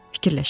Fikirləşin."